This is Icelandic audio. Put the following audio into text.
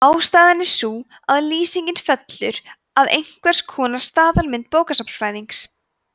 ástæðan er sú að lýsingin fellur að einhvers konar staðalmynd bókasafnsfræðings